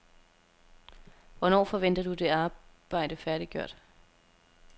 Hvornår forventer du det arbejde færdiggjort?